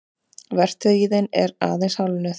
Vertíðin er aðeins hálfnuð